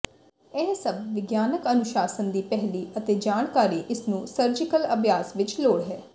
ਇਹ ਸਭ ਵਿਗਿਆਨਕ ਅਨੁਸ਼ਾਸਨ ਦੀ ਪਹਿਲੀ ਅਤੇ ਜਾਣਕਾਰੀ ਇਸ ਨੂੰ ਸਰਜੀਕਲ ਅਭਿਆਸ ਵਿੱਚ ਲੋੜ ਹੈ